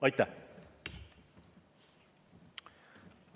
Aitäh!